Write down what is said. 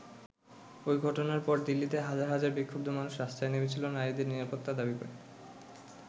ওই ঘটনার পর দিল্লিতে হাজার হাজার বিক্ষুব্ধ মানুষ রাস্তায় নেমেছিলেন নারীদের নিরাপত্তা দাবি করে।